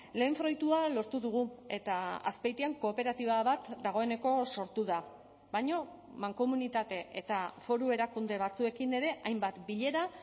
lehen fruitua lortu dugu eta azpeitian kooperatiba bat dagoeneko sortu da baina mankomunitate eta foru erakunde batzuekin ere hainbat bilera